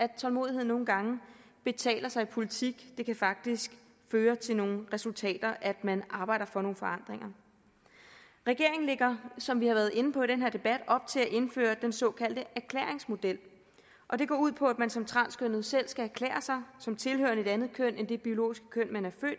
at tålmodighed nogle gange betaler sig i politik det kan faktisk føre til nogle resultater at man arbejder for nogle forandringer regeringen lægger som vi har været inde på i den her debat op til at indføre den såkaldte erklæringsmodel og den går ud på at man som transkønnet selv skal erklære sig som tilhørende et andet køn end det biologiske køn man er